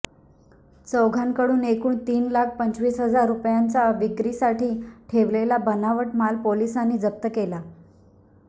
चौघांकडून एकूण तीन लाख पंचवीस हजार रुपयांचा विक्रीसाठी ठेवलेला बनावट माल पोलिसांनी जप्त केला